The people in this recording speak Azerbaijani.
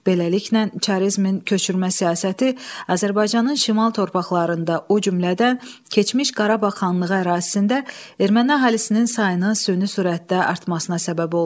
Beləliklə, çarizmin köçürmə siyasəti Azərbaycanın şimal torpaqlarında, o cümlədən, keçmiş Qarabağ xanlığı ərazisində erməni əhalisinin sayını süni sürətdə artmasına səbəb oldu.